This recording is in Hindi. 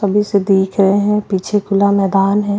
सभी से देख रहे हैं पीछे खुला मैदान है।